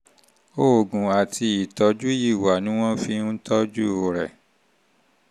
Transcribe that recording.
oògùn àti ìtọ́jú ìwà ni wọ́n fi ń tọ́jú rẹ̀